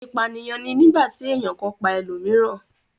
ipaniyan ni nigbati èyán kan pá elomiiran.